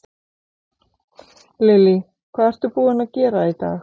Lillý: Hvað ertu búinn að gera í dag?